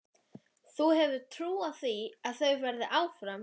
Þú hefur trú á því að þau verði áfram?